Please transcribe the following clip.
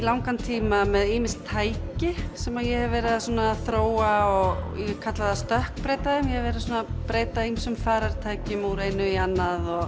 langan tíma með ýmis tæki sem ég hef verið að þróa og ég kalla það að stökkbreyta þeim ég hef verið að breyta ýmsum farartækjum úr einu í annað